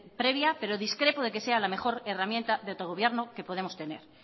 previa pero discrepo de que sea la mejor herramienta de autogobierno que podemos tener